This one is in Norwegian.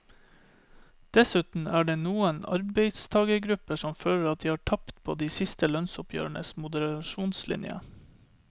Dessuten er det noen arbeidstagergrupper som føler at de har tapt på de siste lønnsoppgjørenes moderasjonslinje.